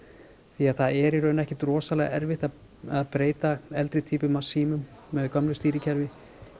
því það er ekkert rosalega erfitt að að breyta eldri týpum af símum með gömlu stýrikerfi